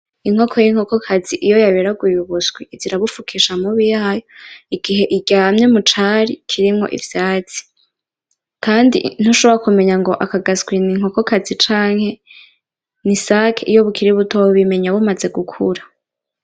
Inkoko y'inkokokazi iyo yaberaguye ubuswi izirabufukisha amubi yayo igihe iryamye mucari kirimwo ivyatsi Kandi ntushobora kumenya ngo akagaswi ngo ni inkokokazi canke ni isake iyo bukiri buto, ubimenya bumaze gukura.